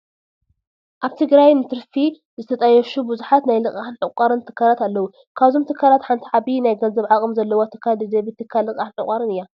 ኣብ ትግራይ ንትርፊ ዝተጣየሹ ብዙሓት ናይ ልቃሕን ዕቋርን ትካላት ኣለዉ፡፡ ካብዞም ትካላት ሓንቲ ዓብዪ ናይ ገንዘብ ዓቕሚ ዘለዋ ትካል ደደቢት ትካል ልቓሕን ዕቋርን እያ፡፡